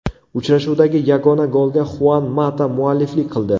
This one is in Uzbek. Uchrashuvdagi yagona golga Xuan Mata mualliflik qildi.